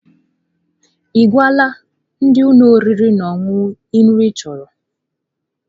Ị gwala ndi ụlọ oriri na ọṅụṅụ nri ị chọrọ?